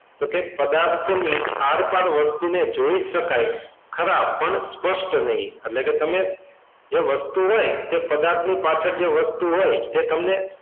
તો કે પદાર્થની આરપાર વસ્તુને જોઈ શકાય ખરા પણ સ્પષ્ટ નહીં તમને જે વસ્તુ હોય પદાર્થની પાછળ જે વસ્તુ હોય તે તમને,